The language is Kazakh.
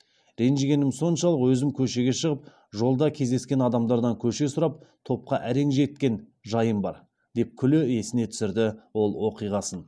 ренжігенім соншалық өзім көшеге шығып жолда кездескен адамдардан көше сұрап топқа әрең жеткен жайым бар деп күле есіне түсірді ол оқиғасын